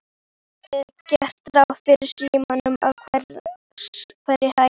Það er gert ráð fyrir símum á hverri hæð.